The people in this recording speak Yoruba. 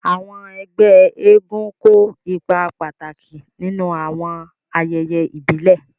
Àwọn ẹ́gbẹ èègún kó ipa pàtàki ninu awọn àyẹyẹ ibile.